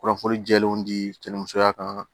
Kunnafoni jɛlenw di cɛnlimusoya kan